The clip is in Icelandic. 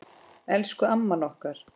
Elsku amman okkar.